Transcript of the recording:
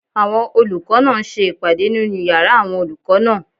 Àwọn olùkọ́ náà ń ṣe ìpàdé nínu yàrá àwọn olùkọ́ náà